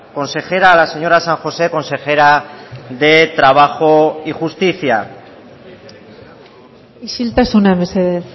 consejera a la señora san josé consejera de trabajo y justicia isiltasuna mesedez